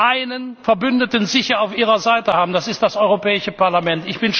einen Verbündeten sicher auf ihrer Seite haben Das ist das Europäische Parlament.